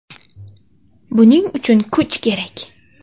Buning uchun kuch kerak.